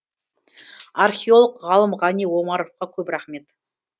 археолог ғалым ғани омаровқа көп рахмет